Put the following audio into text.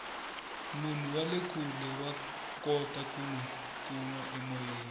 munhu wale kule wa kota ku nwi kuma emoyeni